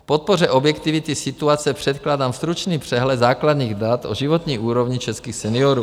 K podpoře objektivity situace předkládám stručný přehled základních dat o životní úrovni českých seniorů.